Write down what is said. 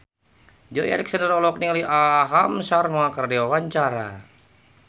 Joey Alexander olohok ningali Aham Sharma keur diwawancara